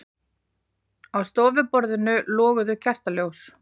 Á stofuborðinu loguðu kertaljós.